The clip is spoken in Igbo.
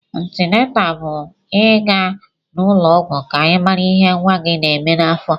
Antịnátà bụ ị ga n'ụlọ ọgwụ ka ị mara ihé nwa gị na-èmè n'afọ